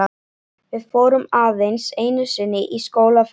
Við fórum aðeins einu sinni í skólaferðalag.